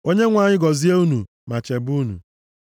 “‘“ Onyenwe anyị gọzie unu ma chebe unu,